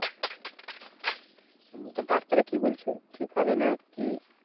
ডাক্তারে কি বলছে? ঠিক হবে না কি?